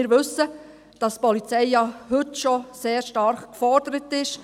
Und wir wissen, dass die Polizei ja heute schon sehr stark gefordert ist.